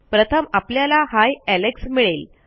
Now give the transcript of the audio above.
प्रथम आपल्याला ही एलेक्स मिळेल